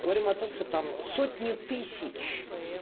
говорим о том что там сотни тысяч